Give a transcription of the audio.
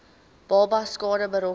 babas skade berokken